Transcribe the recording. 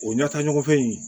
O ɲɛta ɲɔgɔn in